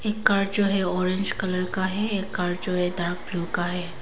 एक कार जो है ऑरेंज कलर का हैं एक कार जो हैं डार्क ब्ल्यू का है।